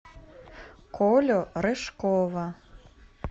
колю рыжкова